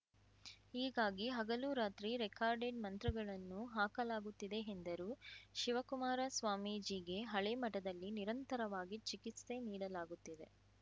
ಹೀಗಾಗಿ ಹಗಲು ರಾತ್ರಿ ರೆಕಾರ್ಡೆಡ್‌ ಮಂತ್ರಗಳನ್ನು ಹಾಕಲಾಗುತ್ತಿದೆ ಎಂದರು ಶಿವಕುಮಾರ ಸ್ವಾಮೀಜಿಗೆ ಹಳೆ ಮಠದಲ್ಲಿ ನಿರಂತರವಾಗಿ ಚಿಕಿತ್ಸೆ ನೀಡಲಾಗುತ್ತಿದೆ